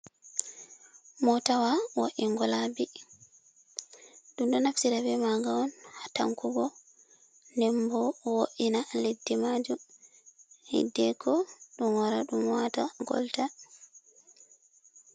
Motawa wo’ingolaɓi. ɗunɗo naftira ɓe maga on tankugo ɗemɓo wo’ina leɗɗi majum hiɗɗe ko Ɗum wara ɗum wata golta.